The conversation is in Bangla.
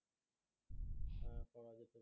হ্যাঁ করা যেতে